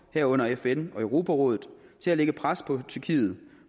herunder fn og europarådet til at lægge pres på tyrkiet